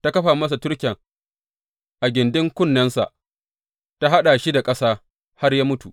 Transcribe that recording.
Ta kafa masa turken a gindin kunnensa ta haɗa shi da ƙasa, har ya mutu.